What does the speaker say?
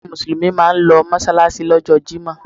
Àwọn Mùsùlùmí máa ń lọ mọ́ṣáláṣí lọ́jọ́ jímọ̀.